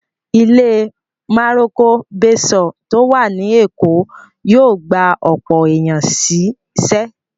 Ilé Maroko Bayshore tó wà ní Èkó yóò gba ọ̀pọ̀ èèyàn sí ṣẹ́